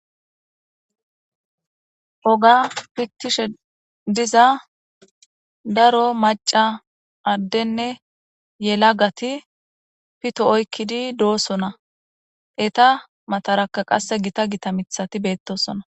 ogga fitiishshe diza daro macca addenne yelaggati pitto oykidi doosona etta mataraka qasse gita gita miththati beettosona